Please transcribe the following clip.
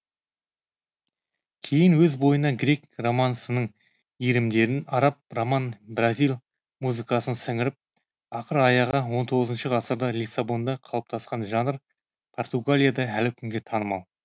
кейін өз бойына грек романсының иірімдерін араб роман бразиль музыкасын сіңіріп ақыр аяғы он тоғызыншы ғасырда лиссабонда қалыптасқан жанр португалияда әлі күнге танымал